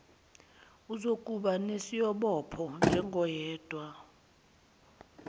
uzokuba nesiobopho njengoyedwana